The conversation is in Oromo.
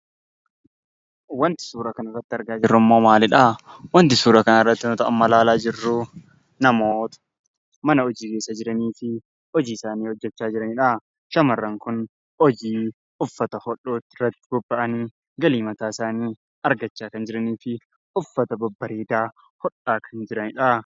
Wanti suuraa kana irratti argaa jirru maaliidhaa? Wanti suuraa kana irratti amma ilaalaa jirru namoota mana hojii keessa jiraniitii fi hojii isaanii hojjechaa jiraniidha. Shamarran Kun hojii mataa isaanii irratti bobba'anii galii mataa isaanii argachaa jiranii fi uffata babbareedaa hodhaa jiraniidha.